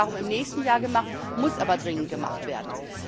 Das wird darum im nächsten Jahr gemacht, muss aber dringend gemacht werden.